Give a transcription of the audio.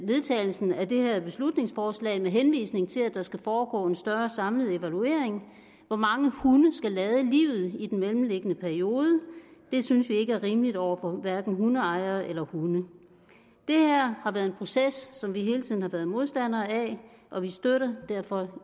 vedtagelsen af det her beslutningsforslag med henvisning til at der skal foregå en større samlet evaluering hvor mange hunde skal lade livet i den mellemliggende periode det synes vi ikke er rimeligt over for hverken hundeejere eller hunde det her har været en proces som vi hele tiden har været modstandere af og vi støtter derfor